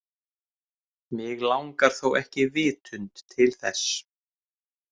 Mig langar þó ekki vitund til þess.